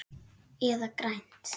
Eða grænt.